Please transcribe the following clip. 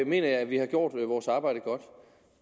mener jeg at vi har gjort vores arbejde godt